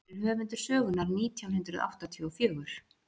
Hver er höfundur sögunnar nítján hundruð áttatíu og fjögur?